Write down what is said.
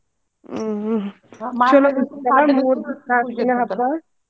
ಹ್ಮ್ ಹ್ಮ್ ಚೊಲೋ ಬಿಡ್ರಿ ಮೂರ್ ನಾ ಕ್ ದಿನಾ ಹಬ್ಬಾ.